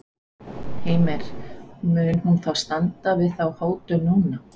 Heimir, mun hún þá standa við þá hótun núna?